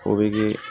O bi